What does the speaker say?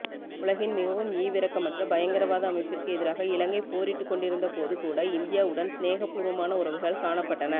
உலகின் மிகவும் ஈவிரக்கமற்ற பயங்கரவாத அமைப்பிற்கு எதிராக இலங்கை போரிட்டுக்கொண்டிருந்தபோது கூட இந்தியாவுடன் சினேகபூர்வமான உறவுகள் காணப்பட்டன